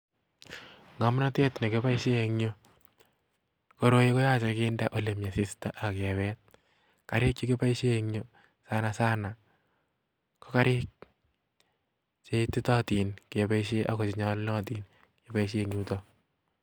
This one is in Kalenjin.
Ngomnotet nekiboishien en yuh, koroi koyoche kindee olemi asistaa ak level, Garik chekiboishien en yu sanasana KO Garik cheititootin ak ko chenyolunot keboishien eng yuton